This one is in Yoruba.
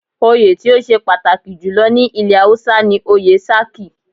Oyè tí ó ṣe pàtàkì jù lọ ní ilẹ̀ Hausa ni oyè "Sarki".